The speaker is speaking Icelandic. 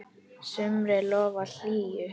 sumri lofar hlýju.